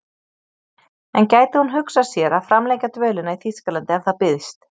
En gæti hún hugsað sér að framlengja dvölinni í Þýskalandi ef það býðst?